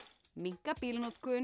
minnka